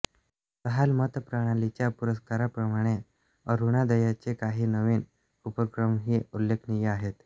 जहाल मतप्रणालीच्या पुरस्काराप्रमाणे अरुणोदयाचे काही नवीन उपक्रमही उलेखनीय आहेत